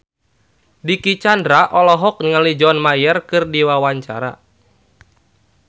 Dicky Chandra olohok ningali John Mayer keur diwawancara